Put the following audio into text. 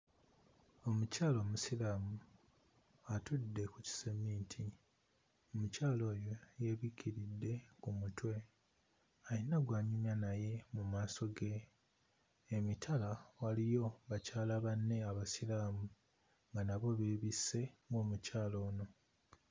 Omukyala omusiraamu atudde ku kiseminti. Omukyala oyo yeebikkiridde ku mutwe; alina gw'anyumya naye mu maaso ge, emitala waliyo bakyala banne Abasiraamu nga nabo beebisse ng'omukyala ono.